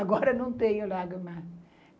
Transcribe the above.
Agora não tenho lágrima.